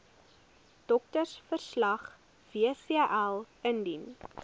doktersverslag wcl indien